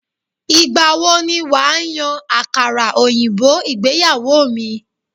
Ìgbà wo ni wà á yan àkàrà òyìnbó ìgbéyàwó mi?